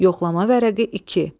Yoxlama vərəqi iki.